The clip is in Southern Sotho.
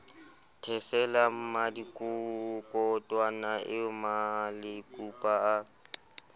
thesela mmadikotwana eo malekupa a